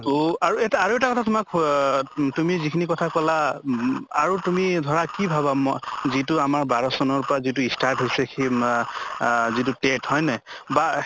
তʼ আৰু এটা আৰু এটা কথা হʼ উম তুমি যিখিনি কথা কলা উম আৰু তুমি ধৰা কি ভাবা ম যিটো আমাৰ বাৰʼ চনৰ পৰা যিটো start হৈছে সেই মা আহ যিটো TET হয় নে নাই? বা